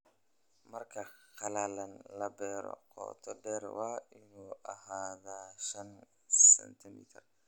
Marka qalalan la beero, qoto dheer waa inuu ahaadaa shan sentimitar